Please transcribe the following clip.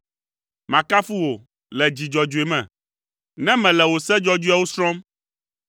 Makafu wò le dzi dzɔdzɔe me, ne mele wò se dzɔdzɔeawo srɔ̃m.